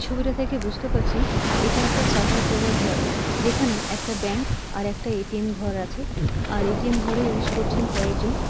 ছবিটা থেকে বুঝতে পারছি এটা একটা সাটার দেওয়া ঘর যেখানে একটা ব্যাঙ্ক আর একটা এ.টি.এম. ঘর আছে। আর এ.টি.এম. ঘরে ইউস করছেন কয়েকজন।